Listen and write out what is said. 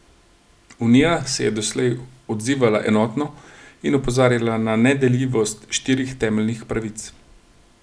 Unija se je doslej odzivala enotno in opozarjala na nedeljivost štirih temeljnih pravic.